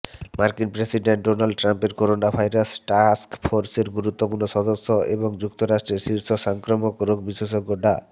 মার্কিন president Donald ট্রাম্পের coronavirus টাস্কফোর্সের গুরুত্বপূর্ণ সদস্য এবং যুক্তরাষ্ট্রের শীর্ষ সংক্রামক রোগ বিশেষজ্ঞ ডা